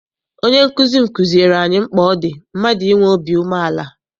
Onye nkụzi m kụziere anyị mkpa ọ dị mmadụ inwe obi umeala.